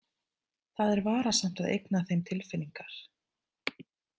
Það er varasamt að eigna þeim tilfinningar.